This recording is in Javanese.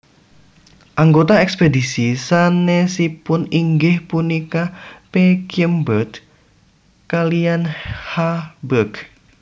Anggota ekspedisi sanesipun inggih punika P Kyem berg kaliyan H berg